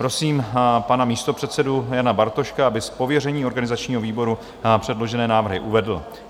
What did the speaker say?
Prosím pana místopředsedu Jana Bartoška, aby z pověření organizačního výboru předložené návrhy uvedl.